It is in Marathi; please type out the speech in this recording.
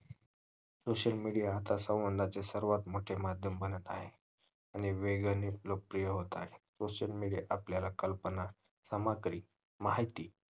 social media आता संबंधाचे सर्वात मोठे माध्यम बनत आहे आणि वेगाने लोक प्रिय होत आहे social media त आपल्याला कल्पना सामग्री माहिती